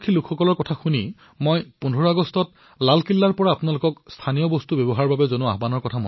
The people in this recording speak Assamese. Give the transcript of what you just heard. এশ বছৰ পূৰ্বে গান্ধীজীয়ে যি বৃহৎ জন আন্দোলনৰ সূচনা কৰিছিল তাৰ এটাই লক্ষ্য আছিল আৰু সেয়া হল ভাৰতীয় উৎপাদিত সামগ্ৰীসমূহক উদগনি জনোৱা